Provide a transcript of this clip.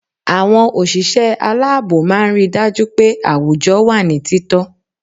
Àwọn òṣìṣẹ́ aláàbò máa ń ri dájú pé àwùjọ wà ní títọ́